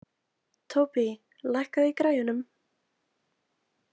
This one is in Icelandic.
Tóbý, lækkaðu í græjunum.